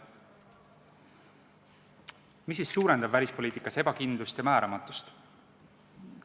Mis suurendab välispoliitikas ebakindlust ja määramatust?